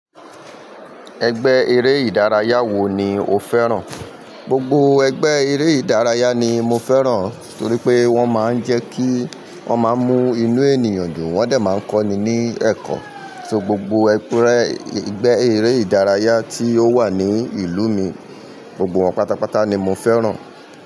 Ẹgbẹ́ eré ìdárayá wo ni o fẹ́ràn? Gbogbo ẹgbẹ́ eré ìdárayá ni mo fẹ́ràn torí pé wọ́n máa ń jẹ́ kí, wọ́n máa ń mú inú ènìyàn dùn, wọ́n dẹ̀ máa ń kọ́ni ní ẹ̀kọ́, ṣo gbogbo egbẹ́ eré ìdárayá tí ó wà ní ìlú mi, gbogbo wọn pátápátá ni mo fẹ́ràn.